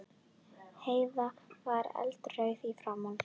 Heiða var eldrauð í framan.